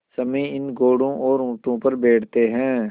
सम्मी इन घोड़ों और ऊँटों पर बैठते हैं